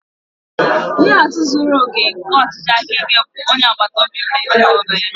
Ihe atụ zuru oke nke ọchịchị aka ike bụ onye agbata obi m na ezinụlọ ya